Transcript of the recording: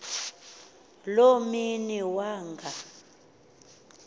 loo mini wanga